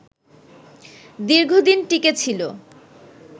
দীর্ঘদিন টিকে ছিল